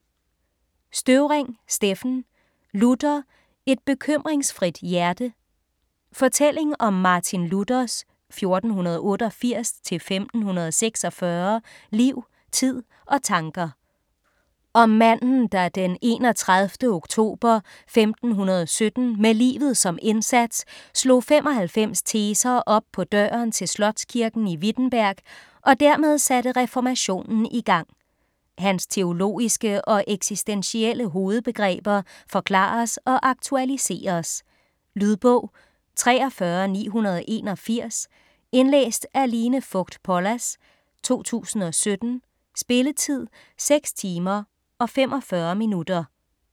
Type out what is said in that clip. Støvring, Steffen: Luther: et bekymringsfrit hjerte Fortælling om Martin Luthers (1488-1546) liv, tid og tanker. Om manden, der den 31. oktober 1517, med livet som indsat, slog 95 teser op på døren til slotskirken i Wittenberg og dermed satte reformationen i gang. Hans teologiske og eksistentielle hovedbegreber forklares og aktualiseres. Lydbog 43981 Indlæst af Line Fogt Pollas, 2017. Spilletid: 6 timer, 45 minutter.